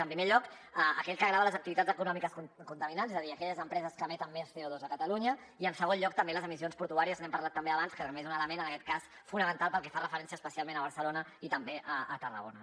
en primer lloc aquell que grava les activitats econòmiques contaminants és a dir aquelles empreses que emeten més coportuàries n’hem parlat també abans que també és un element en aquest cas fonamental pel que fa referència especialment a barcelona i també a tarragona